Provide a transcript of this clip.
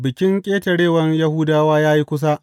Bikin Ƙetarewan Yahudawa ya yi kusa.